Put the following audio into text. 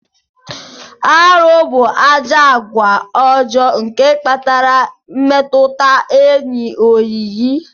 Arụ bu ajọ agwa ọjọ nke kpatara mmetụta enyi oyiyi.